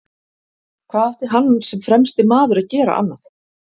Hvað átti hann sem fremsti maður að gera annað?